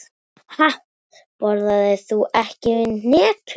Ha, borðar þú ekki hnetur?